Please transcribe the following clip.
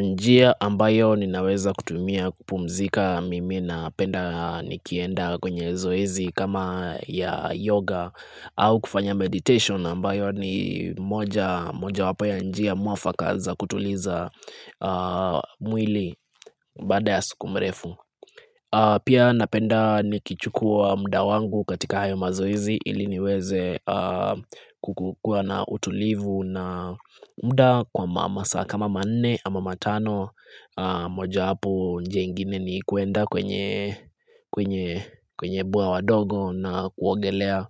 Njia ambayo ninaweza kutumia kupumzika mimi na penda nikienda kwenye zoizi kama ya yoga au kufanya meditation ambayo ni moja wapo ya njia muafakaza kutuliza mwili bada ya sukumrefu. Pia napenda nikichukua mda wangu katika hayo mazoizi ili niweze kukukua na utulivu na mda kwa masa kama manne ama matano moja hwpo nje ingine ni kuenda kwenye kwenye bwawa wadogo na kuogelea